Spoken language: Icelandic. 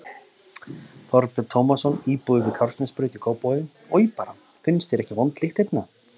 Þorbjörn Tómasson, íbúi við Kársnesbraut í Kópavogi: Oj bara, finnst þér ekki vond lykt hérna?